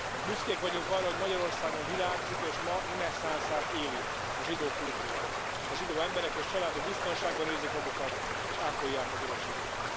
Büszkék vagyunk arra, hogy Magyarországon virágzik, és ma reneszánszát éli a zsidó kultúra, a zsidó emberek és családok biztonságban érzik magukat és ápolják az örökségüket.